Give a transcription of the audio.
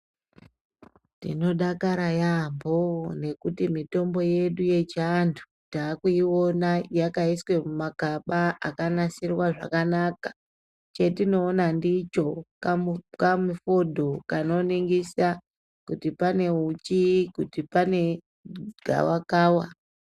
Tinodakara yaampo ngekuti mutombo yedu yechiantu takuiona yakaiswe mumakaba akanasirwa zvakanaka chatinoona ndicho kamu kamufodho kanoningisa kuti pane uchi kuti pane gawa kava.